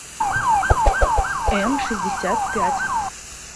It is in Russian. эмшестьдесятпять